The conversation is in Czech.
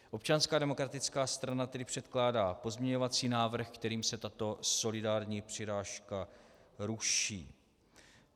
Občanská demokratická strana tedy předkládá pozměňovací návrh, kterým se tato solidární přirážka ruší.